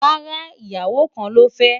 rárá, ìyàwó kàn ló fe